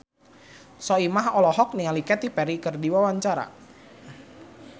Soimah olohok ningali Katy Perry keur diwawancara